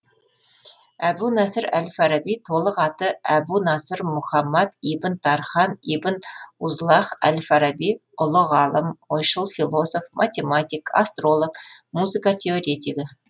әбу насыр әл фараби толық аты әбу насыр мұхаммад ибн тархан ибн узлағ әл фараби ұлы ғалым ойшыл философ математик астролог музыка теоретигі